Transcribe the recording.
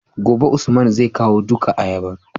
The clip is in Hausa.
gobe usman zai kawo duka ayabar